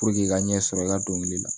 i ka ɲɛsɔrɔ i ka dɔnkili la